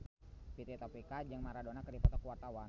Fitri Tropika jeung Maradona keur dipoto ku wartawan